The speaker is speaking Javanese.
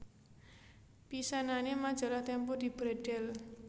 Pisanané Majalah Tempo dibredhel